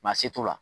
Maa se t'o la